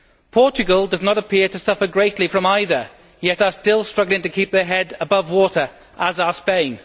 Portugal does not appear to suffer greatly from either, yet it is still struggling to keep its head above water, as is Spain.